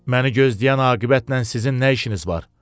Məni gözləyən aqibətlə sizin nə işiniz var?